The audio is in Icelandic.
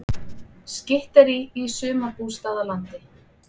Skytterí í sumarbústaðalandi